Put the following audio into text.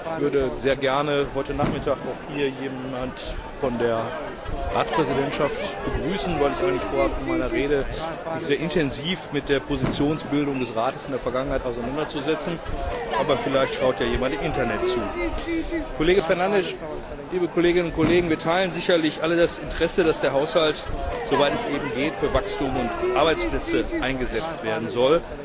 Ich würde sehr gerne heute Nachmittag hier auch jemanden von der Ratspräsidentschaft begrüßen, weil ich eigentlich vorhabe, mich in meiner Rede sehr intensiv mit der Positionsbildung des Rates in der Vergangenheit auseinanderzusetzen. Aber vielleicht schaut ja jemand im Internet zu. Kollege Fernandes, liebe Kolleginnen und Kollegen! Wir teilen sicherlich alle das Interesse, dass der Haushalt, soweit es eben geht, für Wachstum und Arbeitsplätze eingesetzt werden soll.